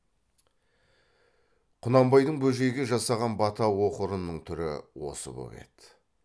құнанбайдың бөжейге жасаған бата оқырының түрі осы боп еді